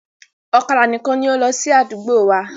Ọ̀kadà nìkan ni ó ń lọ sí àdúgbò wa.